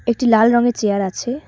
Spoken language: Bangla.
একটি লাল রঙের চিয়ার আছে।